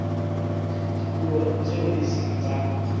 dipuo tseo e seng tsa